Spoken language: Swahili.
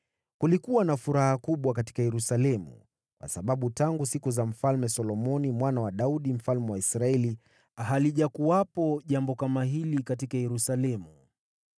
Kulikuwa na furaha kubwa katika Yerusalemu, kwa sababu tangu siku za Mfalme Solomoni mwana wa Daudi mfalme wa Israeli halijakuwepo jambo kama hili katika Yerusalemu.